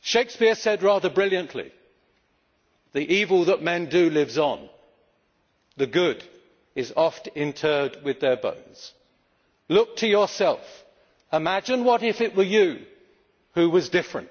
Shakespeare said, rather brilliantly, the evil that men do lives on, the good is oft interred with their bones'. Look to yourself, imagine if it were you who was different